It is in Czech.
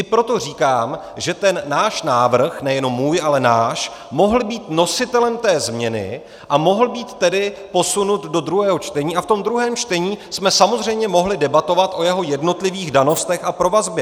I proto říkám, že ten náš návrh - nejenom můj, ale náš - mohl být nositelem té změny a mohl být tedy posunut do druhého čtení a v tom druhém čtení jsme samozřejmě mohli debatovat o jeho jednotlivých danostech a provazbě.